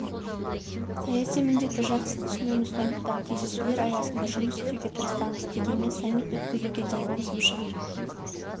саяси міндетті жақсы түсінеміз сондықтан кездесулер аясында жұмыс істеуге тырысамыз дегенмен саммит өткізуге дейін қосымша